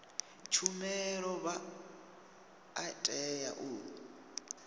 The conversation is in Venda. tshumelo vha a tea u